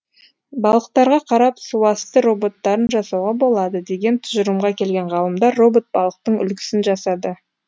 балықтарға қарап суасты роботтарын жасауға болады деген тұжырымға келген ғалымдар робот балықтың үлгісін жасады